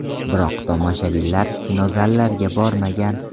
Biroq tomoshabinlar kinozallarga bormagan.